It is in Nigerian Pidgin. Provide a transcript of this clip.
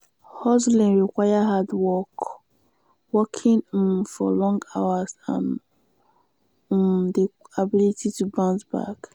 hustling require hard work working um for long hours and um di ability to bounce back